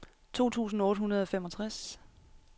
to tusind otte hundrede og femogtres